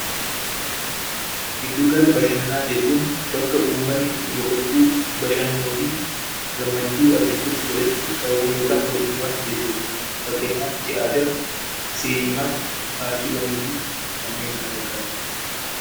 Gidduu gala bashannanaa jechuun bakka uummatni itti boqochuu, bashannanuu fi gammachuu argachuuf walitti qabaman yookaan walitti dhufan jechuudha. Fakkeenyaaf tiyaatira, sineemaa, paarkiiwwanii fi kanneen kana fakkaatanidha.